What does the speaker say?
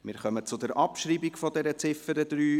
Wir kommen zur Abschreibung dieser Ziffer 3.